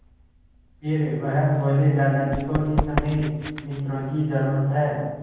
फिर वह बोले दादाजी को इस समय मित्रों की ज़रूरत है